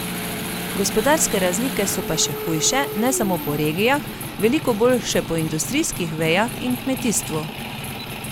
Gospodarske razlike so pa še hujše, ne samo po regijah, veliko bolj še po industrijskih vejah in kmetijstvu.